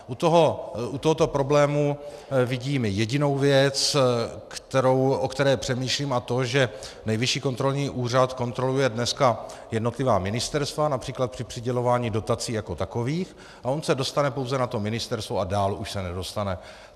U tohoto problému vidím jedinou věc, o které přemýšlím, a to že Nejvyšší kontrolní úřad kontroluje dneska jednotlivá ministerstva, například při přidělování dotací jako takových, a on se dostane pouze na to ministerstvo a dál už se nedostane.